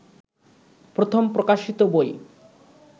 প্রথম প্রকাশিত বই